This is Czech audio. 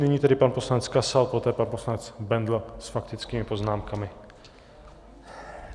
Nyní tedy pan poslanec Kasal, poté pan poslanec Bendl s faktickými poznámkami.